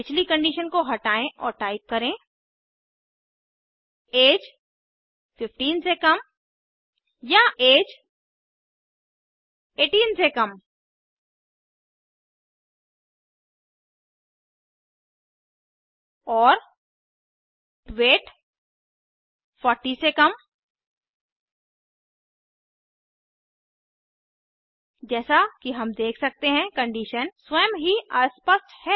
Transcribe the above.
पिछली कंडीशन को हटायें और टाइप करें ऐज15 से कम या ऐज 18 से कम और वेट 40से कम जैसा कि हम देख सकते हैं कि कंडीशन स्वयं ही अस्पष्ट है